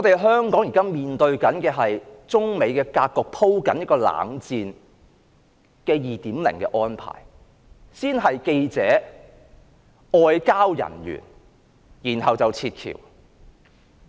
香港現時面對中美鋪排"冷戰 2.0" 的格局，先是驅逐記者、外交人員，然後是撤僑。